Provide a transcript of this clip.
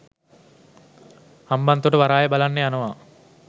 හම්බන්තොට වරාය බලන්න යනවා